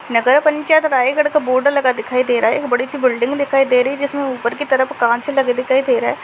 नगर पंचायत रायगढ़ का बोर्ड लगा दिखाई दे रहा है एक बड़ी सी बिल्डिंग दिखाई दे रही है जिसमे ऊपर के तरफ कांच लगे दिखाई दे रहा है।